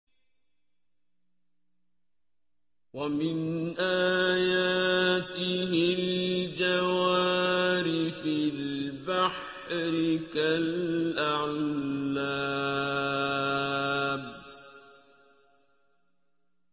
وَمِنْ آيَاتِهِ الْجَوَارِ فِي الْبَحْرِ كَالْأَعْلَامِ